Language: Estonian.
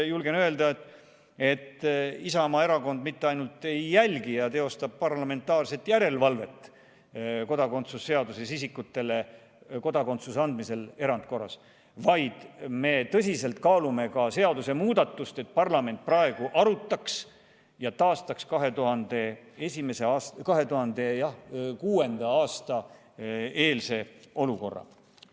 Julgen öelda, et Isamaa Erakond mitte ainult ei jälgi ja ei teosta parlamentaarset järelevalvet kodakondsuse seaduse alusel isikutele erandkorras kodakondsuse andmise üle, vaid me tõsiselt kaalume ka seadusemuudatust, et parlament võtaks arutuse alla ja taastaks 2006. aasta eelse olukorra.